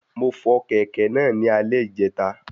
Mo fọ kẹ̀kẹ́ náà ní alè ìjẹta